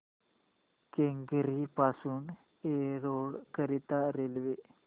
केंगेरी पासून एरोड करीता रेल्वे